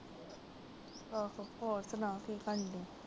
ਆਹੋ, ਹੋਰ ਸੁਣਾ ਕਿ ਕਰਦੇ।